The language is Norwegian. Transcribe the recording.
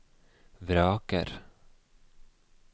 vraker